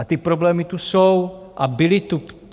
A ty problémy tu jsou a byly tu.